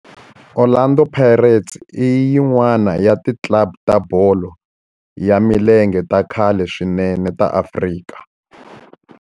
Orlando Pirates i yin'wana ya ti club ta bolo ya milenge ta khale swinene ta Afrika.